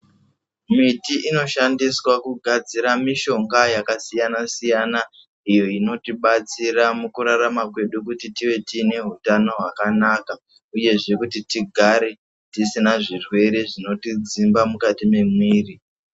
Miti inoshandiswa kugadzira mishonga yakasiyana-siyana, iyo inotibatsira mukurarama kedu kuti tive tiine hutano hwakanaka, uyezve kuti tigare tisina zvirwere zvinotidzimba mukati mwemwiri.